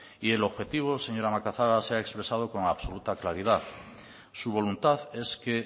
y el objetivo señora macazaga se ha expresado con absoluta claridad su voluntad es que